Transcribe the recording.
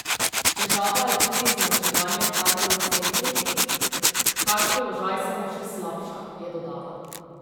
Težava je tudi zmanjševanje kadrov v centrih, kar položaj samo še slabša, je dodala.